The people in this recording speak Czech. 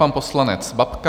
Pan poslanec Babka.